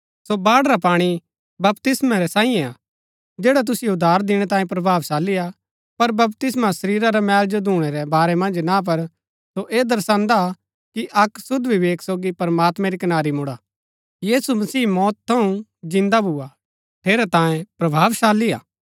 सो बाढ़ रा पाणी बपतिस्मा रै सांईये हा जैडा तुसिओ उद्धार दिणै तांये प्रभावशाली हा पर बपतिस्मा शरीरा रै मेल जो धूणै रै बारै मन्ज ना पर सो ऐह दर्शान्दा हा कि अक्क शुद्ध विवेक सोगी प्रमात्मैं री कनारी मुड़ा यीशु मसीह मौत थऊँ जिन्दा भुआ ठेरैतांये प्रभावशाली हा